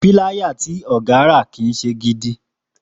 Píláyà tí ògá rà kì í se gidi